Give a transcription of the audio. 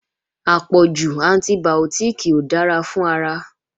Àpọ̀jù antibìọ́tìkì ò dára fún ara